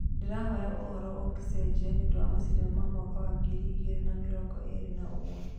Ndĩrehoka ũhoro ingĩcenjia nĩũndũ wa macindano ma mwaka wa ngirĩ igĩrĩ na mĩrongo ĩrĩ na ũmwe.